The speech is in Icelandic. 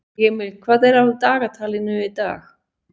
Emil, hvað er á dagatalinu í dag?